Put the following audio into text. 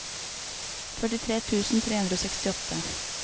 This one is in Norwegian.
førtitre tusen tre hundre og sekstiåtte